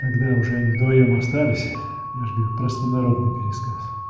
когда уже они вдвоём остались я же говорю простонародный пересказ